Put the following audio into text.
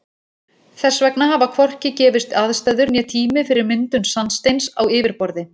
Þess vegna hafa hvorki gefist aðstæður né tími fyrir myndun sandsteins á yfirborði.